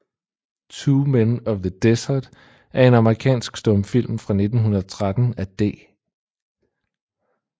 Two Men of the Desert er en amerikansk stumfilm fra 1913 af D